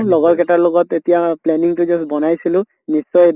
লগৰ কেটাৰ লগত এতিয়া planning তো just বনাইছিলো, নিশ্চয় এদিন